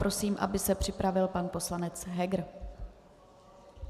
Prosím, aby se připravil pan poslanec Heger.